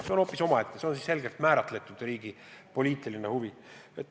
See on hoopis omaette töölõik, kus on tegu riigi selgelt määratletud poliitilise huviga.